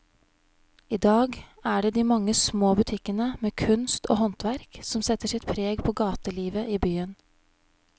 I dag er det de mange små butikkene med kunst og håndverk som setter sitt preg på gatelivet i byen.